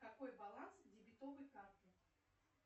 какой баланс дебетовой карты